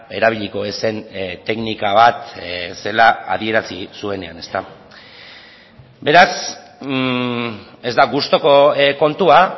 erabiliko ez zen teknika bat zela adierazi zuenean beraz ez da gustuko kontua